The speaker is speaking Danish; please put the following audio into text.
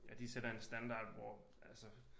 Ja de sætter en standard hvor altså